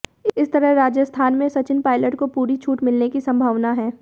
इस तरह राजस्थान में सचिन पायलट को पूरी छूट मिलने की संभावना है